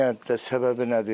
Niyə səbəbi nədir?